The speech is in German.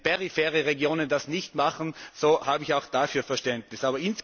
Wenn periphere Regionen das nicht machen, so habe ich auch dafür Verständnis.